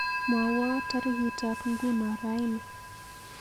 Mwawon tarikitab nguno raini